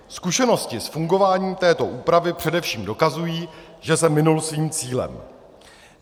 Zkušenosti s fungováním této úpravy především ukazují, že se minul svým cílem.